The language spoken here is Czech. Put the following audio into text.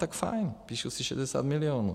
Tak fajn, píšu si šedesát milionů.